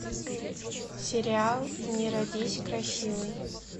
сериал не родись красивой